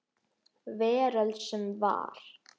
Veröld sem var.